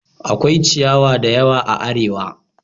Akwai ciyawa da yawa a Arewa